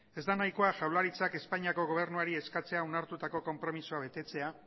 ez da nahikoa jaurlaritzak espainiako gobernuari eskatzea onartutako konpromezua betetzea